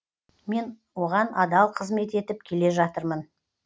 мен оған адал қызмет етіп келе жатырмын